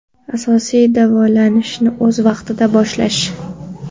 Asosiysi davolanishni o‘z vaqtida boshlash!